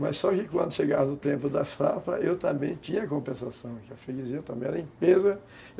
Mas só que quando chegava o tempo da safra, eu também tinha compensação, a freguesia também era